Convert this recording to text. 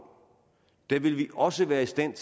vil vi også være i stand